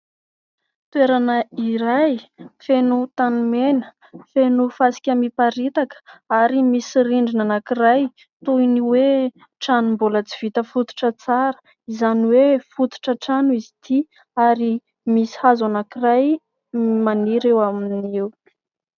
Toerana iray feno tany mena, feno fasika miparitaka ary misy rindrina anankiray toy ny hoe trano mbola tsy vita fototra tsara, izany hoe fototra trano izy ity. Ary misy hazo anankiray maniry eo aminy eo.